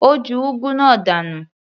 Ó ju úgú náà dànù.